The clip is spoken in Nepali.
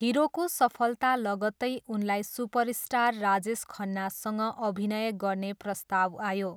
हिरोको सफलता लगत्तै उनलाई सुपरस्टार राजेश खन्नासँग अभिनय गर्ने प्रस्ताव आयो।